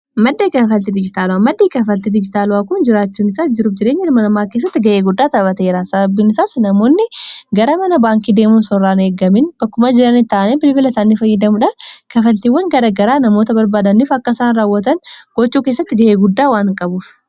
maddei kaafalti dijitaalawaa maddii kaafalti dijitaala'aa kun jiraachuun isaa jiru jireenya hirmannaa hawaasaa keessatti ga'ee guddaa taphateraa sabiinisaas namoonni gara mana baankii deemuun osorraan eeggamin bakkuma jiran ta'ane bilbila isaannii fayyidamuudhaan kafaltiiwwan gara garaa namoota barbaadaniif akkaisaan raawwatan gochuu kessatti ga'ee guddaa waan qabuuf